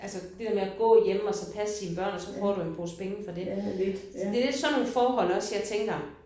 Altså der der med at gå hjemme og så passe sine børn og så får du en pose penge for det. Det er lidt sådan nogle forhold også jeg tænker